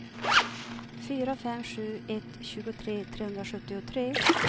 fyra fem sju ett tjugotre trehundrasjuttiotre